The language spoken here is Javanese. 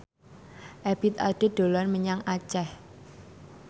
Ebith Ade dolan menyang Aceh